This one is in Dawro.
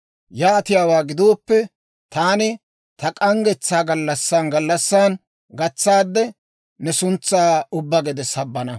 Yaatiyaawaa gidooppe, taani ta k'anggetsaa gallassan gallassan gatsaadde, ne suntsaa ubbaa gede sabbana.